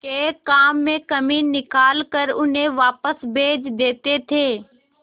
के काम में कमी निकाल कर उन्हें वापस भेज देते थे